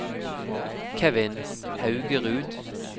Kevin Haugerud